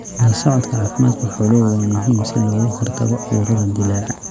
La socodka caafimaadka xooluhu waa muhiim si looga hortago cudurrada dillaaca.